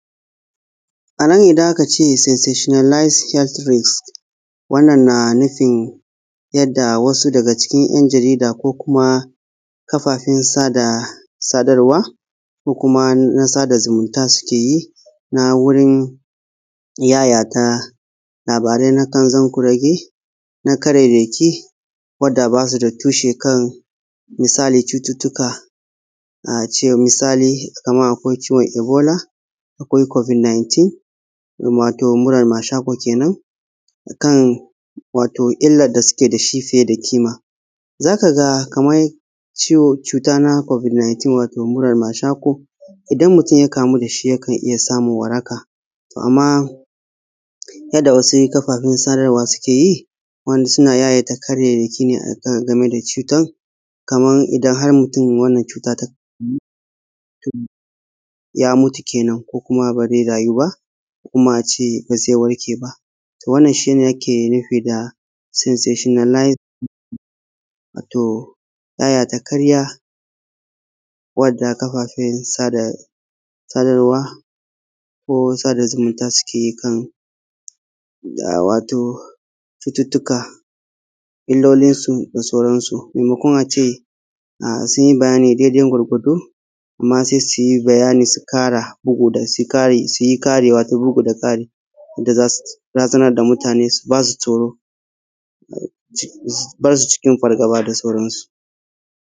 A nan, idan aka ce “sensetionalize health risk”, wannan na nufin wasu daga cikin ‘yan jarida ko kuma kafafen sada; sadarwa ko kuma na sada zumunta suke yi na wurin yayata labarai na kanzan kurege na karairaki wanda ba su da tushe kan misali cututtuka a ce misali kamar a ce misali kamar akwai ciwon Ebola cobid 19 wato muran mashaƙo kenan kan wato illar da suke da shi fiye da ƙima. Za ka ga kaman ciwo; cutar na “covid 19” wato; wato murar mashako, idan mutum ya kamu da shi yakan iya ya samu waraka. To, amma yadda wasu kafafen sadarwa suke yi, wani suna yayata karairaki ne a kan a game da cutan domin idan har mutum wannan cutan tab; ya mutu kenan ko kuma baze rayu baki kuma a ce ba ze warke ba, to wannan shi ake nufi “sensationalize --” wato yayata karya wadda kafafen sada; sadarwa ko sada zumunta suke kan a wato cututtuka, illolin su da sauran su, maimakon a ce sun yi bayani dedan gwargwado. Amma se su yi bayani su kara bugu da; da su yi kari, su yi kariwa ko bugu da kari yadda za su razanar da mutane su; ba su tsoro su ba su cikin fargaba da sauran su.